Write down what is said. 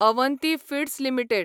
Avanti feeds limited